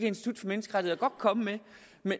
institut for menneskerettigheder godt komme